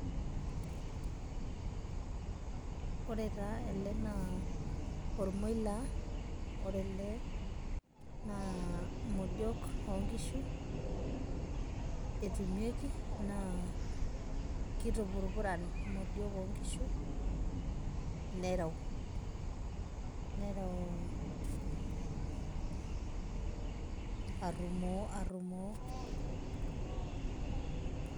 Ore taa ele naa ormoilaa. Ore ele naa, modiok onkishu etumieki, naa kitupurupuran imodiok onkishu, nereu. Nereu arrumoo arrumoo.